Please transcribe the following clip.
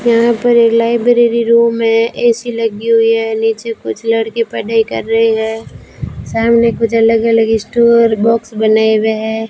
यहां पर एक लाइब्रेरी रूम है ए_सी लगी हुई है नीचे कुछ लड़की पढ़ाई कर रही है सामने कुछ अलग अलग स्टोर बॉक्स बनाए हुए है।